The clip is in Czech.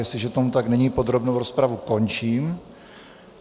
Jestliže tomu tak není, podrobnou rozpravu končím.